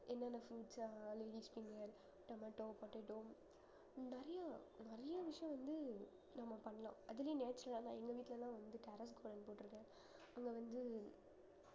என்னென்ன fruits உ அஹ் tomato, potato நிறைய நிறைய விஷயம் வந்து நம்ம பண்ணலாம் அதுலயும் natural ஆ எங்க வீட்டுல எல்லாம் வந்து carrot அதுல வந்து